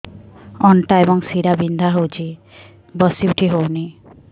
ଅଣ୍ଟା ଏବଂ ଶୀରା ବିନ୍ଧା ହେଉଛି ବସି ଉଠି ହଉନି